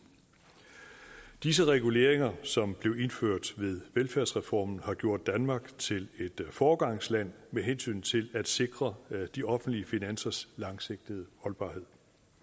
disse reguleringer som blev indført ved velfærdsreformen har gjort danmark til et foregangsland med hensyn til at sikre de offentlige finansers langsigtede holdbarhed